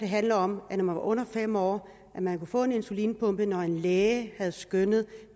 handler om at når man er under fem år kan man få en insulinpumpe når en læge har skønnet at